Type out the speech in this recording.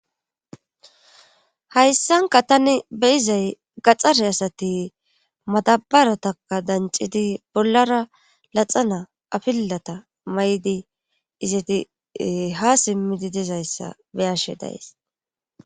Hayssanka tani beyizay gaxxare asati matabarataka dancidi bollara laxana afillata may'idi izati ha simmidi dizayssa beyashe dayes.